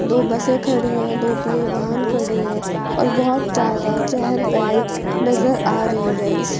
दो बसें खड़ी हैं दो पहिए वाहन खड़े हैं और बहुत ज्यादा चहल पहल नजर आ रही है इस--